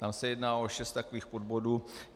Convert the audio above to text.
Tam se jedná o šest takových podbodů.